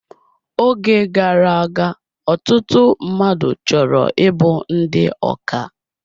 Oge gara aga, ọtụtụ mmadụ chọrọ ịbụ ndị ọkà